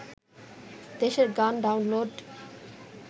দেশের গান ডাউনলোড